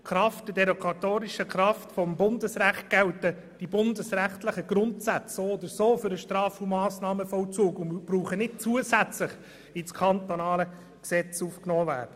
Aufgrund der derogatorischen Kraft des Bundesrechts gelten die bundesrechtlichen Grundsätze ohnehin für den Straf- und Massnahmenvollzug und müssen nicht zusätzlich in das kantonale Gesetz aufgenommen werden.